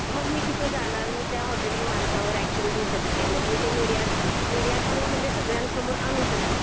मग मी तिथे जाणार, मी त्या हॉटेल मालकावर एकशन घेऊ शकते. मग मी ते मीडिया, मीडिया थ्रू म्हणजे सगळ्यांन समोर आणू शकते